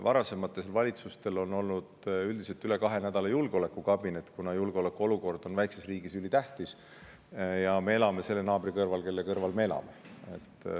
Varasematel valitsustel on olnud üldiselt üle kahe nädala julgeolekukabinet, kuna julgeolekuolukord on väikeses riigis ülitähtis ja me elame selle naabri kõrval, kelle kõrval me elame.